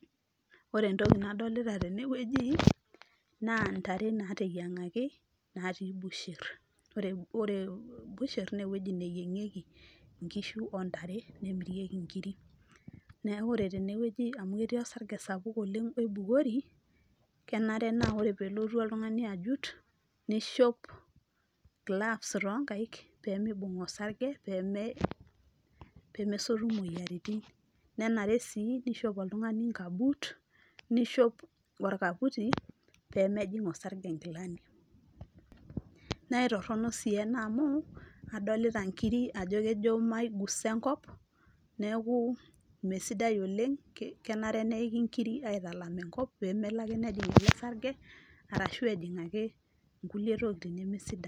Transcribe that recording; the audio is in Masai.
Ore entoki nadolita tene wueji naa ntare nateyiengaki natii busher. Ore busher nee ewueji neyiengieki nkishu ontare nemirieki inkiri. Niaku ore tene wueji amu ketii osarge sapuk oibukori , kenare naa ore peelotu oltungani ajut , nishop gloves too nkaik , pemibung osarge , pemesotu imoyiaritin . Nenare sii nishop oltungani nkabuut , nishop orkaputi pemejing osarge nkilani. Naa itorono sii ena amu adolita nkiri ajo kejo maigusa enkop , neeku mmee sidai oleng, kenare neiki nkiri aitalam enkop pemelo ake nejing ele sarge ashu ejing ake kulie tokitin neme sidan.